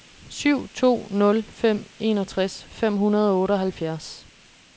syv to nul fem enogtres fem hundrede og otteoghalvfjerds